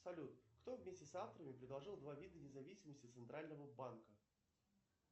салют кто вместе с авторами предложил два вида независимости центрального банка